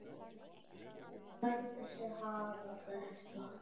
Hún lætur sig hafa þetta.